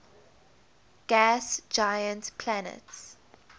gas giant planets